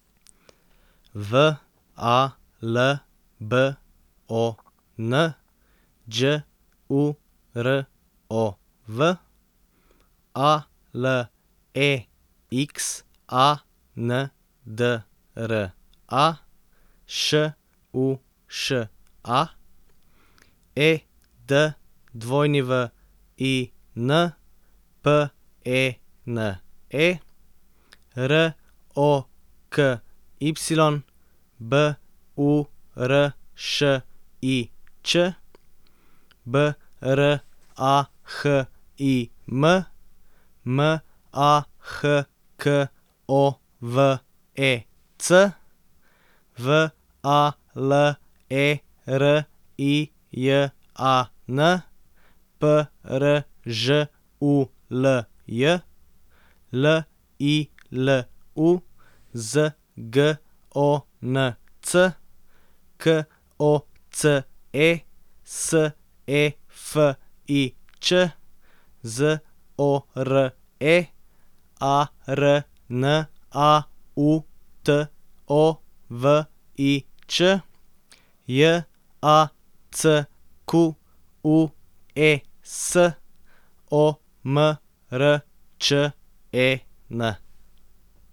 V A L B O N, Đ U R O V; A L E X A N D R A, Š U Š A; E D W I N, P E N E; R O K Y, B U R Š I Č; B R A H I M, M A H K O V E C; V A L E R I J A N, P R Ž U L J; L I L U, Z G O N C; K O C E, S E F I Ć; Z O R E, A R N A U T O V I Ć; J A C Q U E S, O M R Č E N.